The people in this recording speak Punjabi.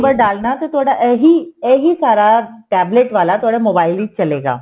ਡਾਲਨਾ ਤੇ ਤੁਹਾਡਾ ਇਹੀ ਸਾਰਾ tablet ਵਾਲਾ ਤੁਹਡੇ mobile ਵਿੱਚ ਚੱਲੇਗਾ